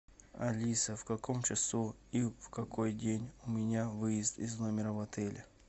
алиса в каком часу и в какой день у меня выезд из номера в отеле